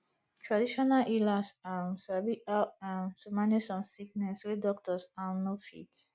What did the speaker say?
traditional healers um sabi how um to manage some sickness wey doctors um no fit